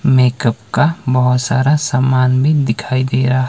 makeup का बहोत सारा सामान भी दिखाई दे रहा--